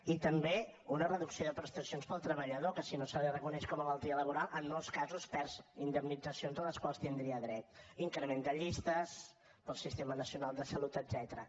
i també una reducció de prestacions per al treballador que si no se li reconeix com a malaltia laboral en molts casos perd indemnitzacions a les quals tindria dret increment de llistes per al sistema nacional de salut etcètera